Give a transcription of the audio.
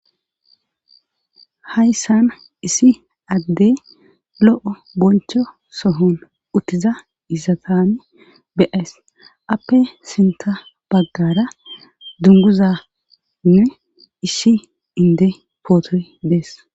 hayssan isi addey lo7o boncho sohon uttiza izatane beyees appe sinta baggara dunguzanne ishi inde pootoy dees